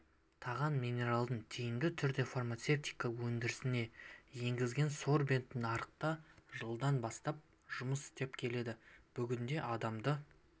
таған минералын тиімді түрде фармацевтика өндірісіне енгізген сорбент нарықта жылдан бастап жұмыс істеп келеді бүгінде адамды